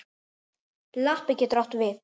Lappi getur átt við